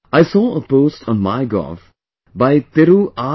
I saw a post on MyGov by Thiru R